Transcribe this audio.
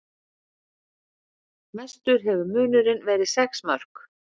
Mestur hefur munurinn verið sex mörk